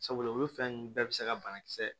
Sabula olu fɛn ninnu bɛɛ bɛ se ka banakisɛ